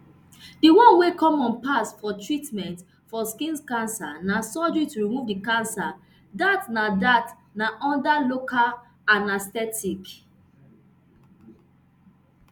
di one wey common pass for treatment for skin cancer na surgery to remove di cancer dat na dat na under local anaesthetic